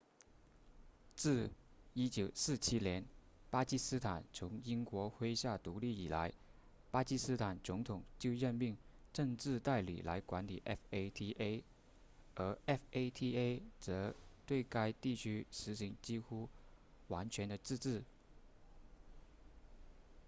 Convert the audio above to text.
自1947年巴基斯坦从英国麾下独立以来巴基斯坦总统就任命政治代理来管理 fata 而 fata 则对该地区实行几乎完全的自治